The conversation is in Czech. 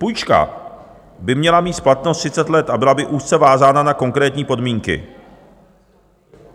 Půjčka by měla mít splatnost 30 let a byla by úzce vázána na konkrétní podmínky.